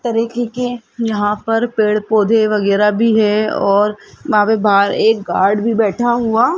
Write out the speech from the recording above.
तरीके के यहां पर पेड़ पौधे वगैरह भी है और वहां पे बाहर एक गार्ड भी बैठा हुआ --